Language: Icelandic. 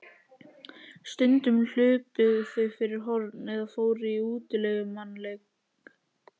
Stundum hlupu þau fyrir horn eða fóru í útilegumannaleik.